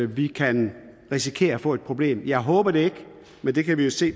vi kan risikere at få et problem jeg håber det ikke men det kan vi jo se